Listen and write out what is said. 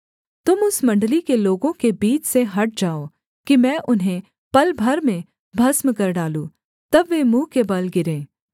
तुम उस मण्डली के लोगों के बीच से हट जाओ कि मैं उन्हें पल भर में भस्म कर डालूँ तब वे मुँह के बल गिरे